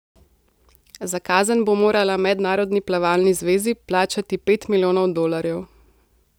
Za kazen bo morala Mednarodni plavalni zvezi plačati pet milijonov dolarjev.